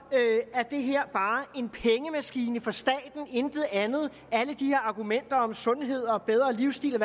er det her bare en pengemaskine for staten og intet andet alle de her argumenter om sundhed og bedre livstil og